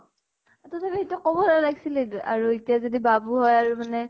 তথাপিতো সেইটো কʼব নালাগিছিলে দিয়া । আৰু এতিয়া যদি বাবু হয় মানে